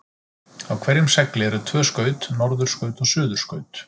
Á hverjum segli eru tvö skaut, norðurskaut og suðurskaut.